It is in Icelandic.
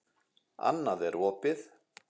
Annað er opið.